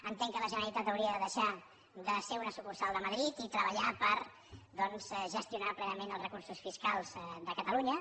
entenc que la generalitat hauria de deixar de ser una sucursal de madrid i treballar per doncs gestionar plenament els recursos fiscals de catalunya